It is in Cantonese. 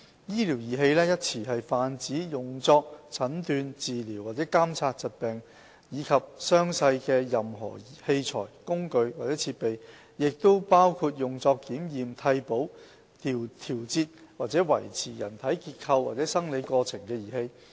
"醫療儀器"一詞泛指用作診斷、治療或監察疾病及傷勢的任何器材、工具或設備，亦包括用作檢驗、替補、調節或維持人體結構或生理過程的儀器。